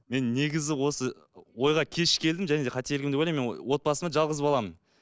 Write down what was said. мен негізі осы ойға кеш келдім және де қателігім деп ойлаймын мен отбасымда жалғыз баламын